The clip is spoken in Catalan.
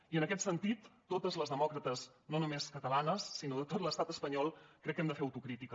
i en aquest sentit totes les demòcrates no només catalanes sinó de tot l’estat espanyol crec que hem de fer autocrítica